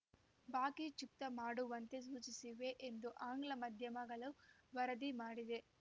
ಬಾಕಿ ಚುಕ್ತಾ ಮಾಡುವಂತೆ ಸೂಚಿಸಿವೆ ಎಂದು ಆಂಗ್ಲಮಾಧ್ಯಮಗಳು ವರದಿ ಮಾಡಿದೆ